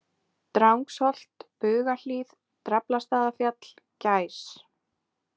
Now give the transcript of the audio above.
Drangsholt, Bugahlíð, Draflastaðafjall, Gæs